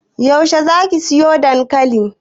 Yaushe za ki soya dankali?